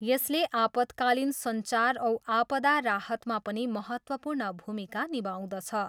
यसले आपतकालीन सञ्चार औ आपदा राहतमा पनि महत्त्वपूर्ण भूमिका निभाउँदछ।